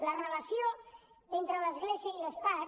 la relació entre l’església i l’estat